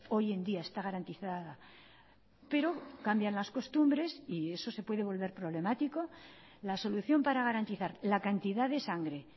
hoy en día está garantizada pero cambian las costumbres y eso se puede volver problemático la solución para garantizar la cantidad de sangre